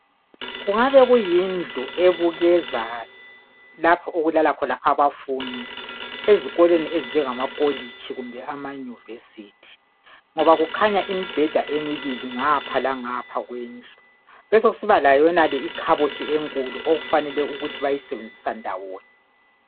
Kungaba kuyindlu ebukeza lapho okulala khona abafundi ezikolweni ezinjengama kolitshi kumbe ama Yunivesithi ngoba kukhanya imibheda emibili ngapha langapha kwendlu. Besekusiba layonale ikhabothi enkulu okufanele ukuthi bayisebenzisa ndawonye.